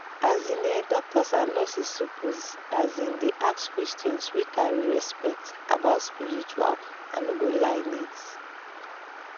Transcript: um ehh doctors and nurses suppose asin dey ask questions wey carry respect about spiritual i no go lie needs.